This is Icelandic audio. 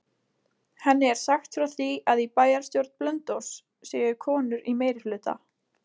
Henni er sagt frá því að í bæjarstjórn Blönduóss séu konur í meirihluta.